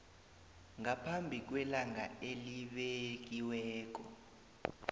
ngaphambi kwelanga elibekiweko